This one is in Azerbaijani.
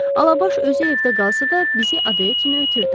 Alabaş özü evdə qalsa da, bizi adaya kimi ötürdü.